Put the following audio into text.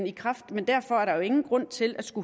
i kraft men derfor er der jo ingen grund til at